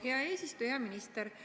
Hea minister!